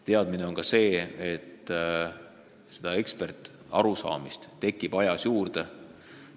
Kordan veel, et eksperditeadmist tekib aja jooksul juurde.